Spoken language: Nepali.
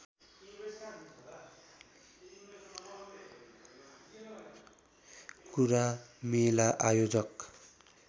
कुरा मेला आयोजक